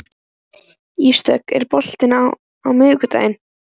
Ísdögg, er bolti á miðvikudaginn?